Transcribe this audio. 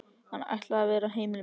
Hann ætlaði að vera heimili mitt.